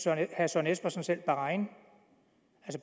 herre søren espersen selv bahrain